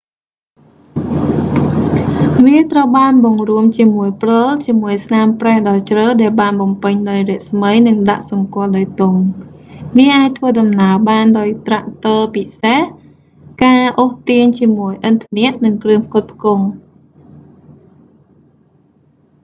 វាត្រូវបានបង្រួមជាមួយព្រិលជាមួយស្នាមប្រេះដ៏ជ្រៅដែលបានបំពេញអោយស្មើនិងដាក់សម្គាល់ដោយទង់ វាអាចធ្វើដំណើរបានដោយត្រាក់ទ័រពិសេស ការអូសទាញជាមួយឥន្ធនៈនិងគ្រឿងផ្គត់ផ្គង់